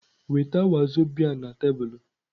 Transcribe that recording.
Weta wazobia na tebụl!